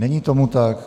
Není tomu tak.